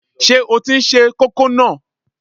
Ṣé o tí n se kókò náà?